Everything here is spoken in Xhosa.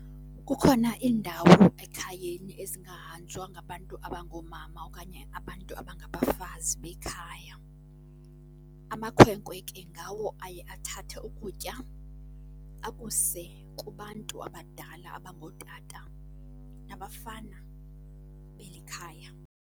Kukhona iindawo ekhayeni ezingahanjwa ngabantu abangoomama okanye abantu abangabafazi bekhaya. Amakhwenkwe ke ngawo aye athathe ukutya akuse kubantu abadala abangootata nabafana beli khaya.